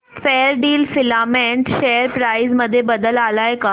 Fairdeal filament share price मध्ये बदल आलाय का